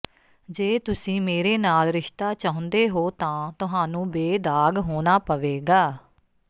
ਜੇ ਤੁਸੀਂ ਮੇਰੇ ਨਾਲ ਰਿਸ਼ਤਾ ਚਾਹੁੰਦੇ ਹੋ ਤਾਂ ਤੁਹਾਨੂੰ ਬੇਦਾਗ ਹੋਣਾ ਪਵੇਗਾ